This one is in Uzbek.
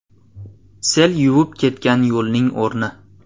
Sel yuvib ketgan yo‘lning o‘rni.